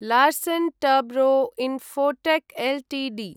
Larsen Toubro Infotech Ltd